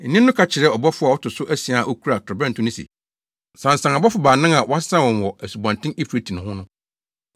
Nne no ka kyerɛɛ ɔbɔfo a ɔto so asia a okura torobɛnto no se, “Sansan abɔfo baanan a wɔasesa wɔn wɔ, Asubɔnten Eufrate ho no.”